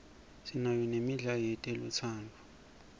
sinayo nemidlalo yetelutsandvo